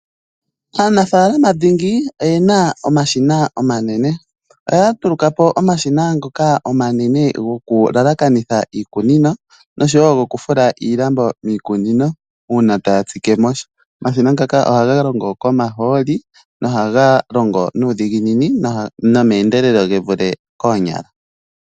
Aanafalama dhingi oyena omashina omanene, oya ndulukapo omashina omanene ngoka ngoka haga laakaneke nenge okufula miikunino uuna yahala okutsikamo sha. Omashina ngaka ohaga longo komaaholi nohaga longo nuudhiginini nomeendelelo gevule koonyala.